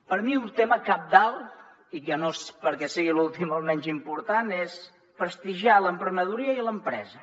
per mi un tema cabdal i que no és perquè sigui l’últim el menys important és prestigiar l’emprenedoria i l’empresa